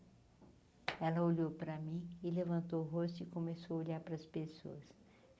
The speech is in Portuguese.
Ela olhou para mim e levantou o rosto e começou a olhar para as pessoas.